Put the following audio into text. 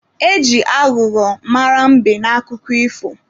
E ji aghụghọ mara mbe n'akụkọ ifo.